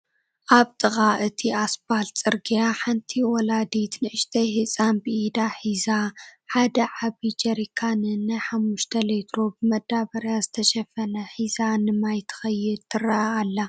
ኣብ ጥቓ እቲ ኣስፓልት ፅርግያ ሓንቲ ወላዲት ንእሽተይ ህፃን ብኢዳ ሒዞ ሓደ ዓብይ ጀሪካንን ናይ 5ሊትሮ ብመዳበርያ ዝተሸፈነን ሒዛ ንማይ ትኸይድ ትረአ ኣላ፡፡